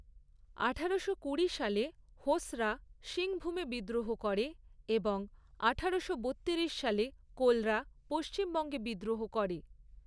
আঠারোশো কুড়ি সালে হোসরা সিংভুমে বিদ্রোহ করে, এবং আঠারোশো বত্তিরিশ সালে কোলরা পশ্চিমবঙ্গে বিদ্রোহ করে।